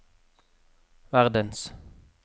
verdens